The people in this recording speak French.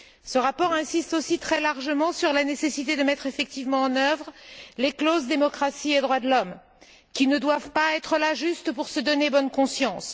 Ce rapport insiste aussi très largement sur la nécessité de mettre effectivement en œuvre les clauses relatives à la démocratie et aux droits de l'homme qui ne doivent pas être là juste pour se donner bonne conscience.